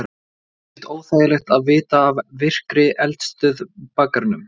Er ekkert óþægilegt að vita af virkri eldstöð í bakgarðinum?